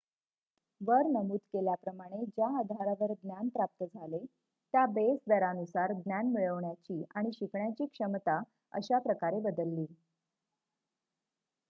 वर नमूद केल्याप्रमाणे ज्या आधारावर ज्ञान प्राप्त झाले त्या बेस दरानुसार ज्ञान मिळवण्याची आणि शिकण्याची क्षमता अशा प्रकारे बदलली